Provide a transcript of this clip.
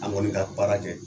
An kɔni ka baara kɛ